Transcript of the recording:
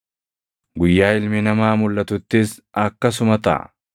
“Guyyaa Ilmi Namaa mulʼatuttis akkasuma taʼa.